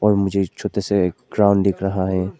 और मुझे एक छोटा सा ग्राउंड दिख रहा है।